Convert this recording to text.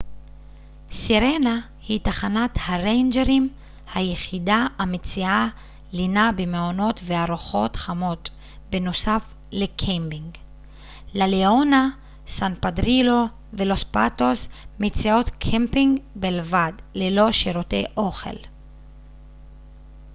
סירנה היא תחנת הריינג'רים היחידה המציעה לינה במעונות וארוחות חמות בנוסף לקמפינג לה ליאונה סן פדרילו ולוס פאטוס מציעות קמפינג בלבד ללא שירותי אוכל